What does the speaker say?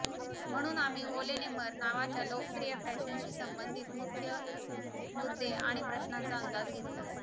म्हणून आम्ही ओलेनेंमर नावाच्या लोकप्रिय फॅशनशी संबंधित मुख्य मुद्दे आणि प्रश्नांचा अंदाज घेतला